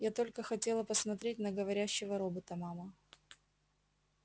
я только хотела посмотреть на говорящего робота мама